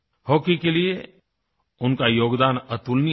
hockey के लिए उनका योगदान अतुलनीय था